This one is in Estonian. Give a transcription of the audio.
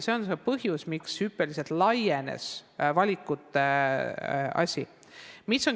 See on see põhjus, miks valikud hüppeliselt laienesid.